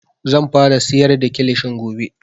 Zan fara siyar da kilishin gobe